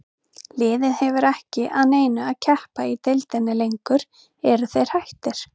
Liðið hefur ekki að neinu að keppa í deildinni lengur, eru þeir hættir?